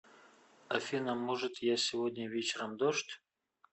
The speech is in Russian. афина может я сегодня вечером дождь